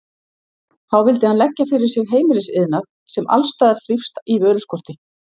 Þá vildi hann leggja fyrir sig heimilisiðnað, sem alls staðar þrífst í vöruskorti.